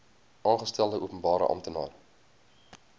aangestelde openbare amptenaar